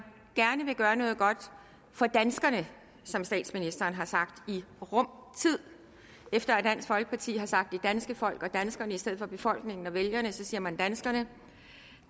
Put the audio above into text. gerne gøre noget godt for danskerne som statsministeren har sagt i rum tid efter at dansk folkeparti har sagt det danske folk og danskerne i stedet for befolkningen og vælgerne så siger man danskerne